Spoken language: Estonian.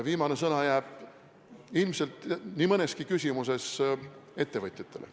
Viimane sõna jääb ilmselt nii mõneski küsimuses ettevõtjatele.